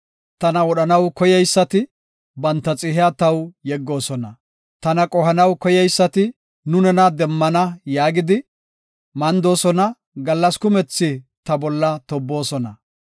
Tana wodhanaw koyeysati banta xihiya taw yeggoosona. Tana qohanaw koyeysati, “Nu nena demmana” yaagidi, mandoosona; gallas kumethi ta bolla tobboosona.